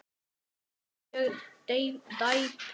Er hann mjög tæpur?